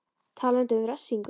Talandi um refsingu?